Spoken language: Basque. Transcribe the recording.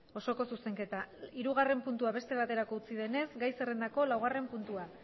osoko zuzenketa hirugarren puntua beste batera utzi denez gai zerrendako laugarren puntua